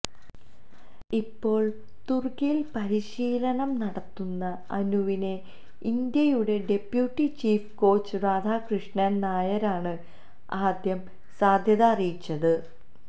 ഇപ്പോള് തുര്ക്കിയില് പരിശീലനം നടത്തുന്ന അനുവിനെ ഇന്ത്യയുടെ ഡെപ്യൂട്ടി ചീഫ് കോച്ച് രാധാകൃഷന് നായരാണ് ആദ്യം സാധ്യത അറിയിച്ചത്